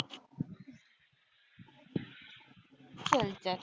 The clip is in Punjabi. ਚਲ ਚਲ।